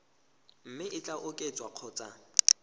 mme e ka oketswa kgotsa